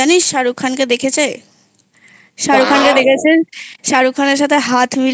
ও জানিস শাহরুখ খানকে দেখেছে শাহরুখ খানকে দেখেছেন শাহরুখ খানের সাথে হাত